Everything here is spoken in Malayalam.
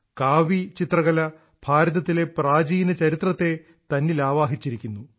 കാവി ചിത്രകല ഭാരതത്തിലെ പ്രാചീന ചരിത്രത്തെ തന്നിൽ ആവാഹിച്ചിരിക്കുന്നു